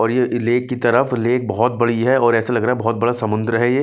और ये लेक की तरफ लेक बहुत बड़ी है और ऐसे लग रहा है बहुत बड़ा समुंद्र है ये।